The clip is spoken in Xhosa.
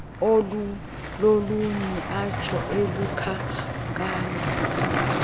olulolunye atsho elukhankanya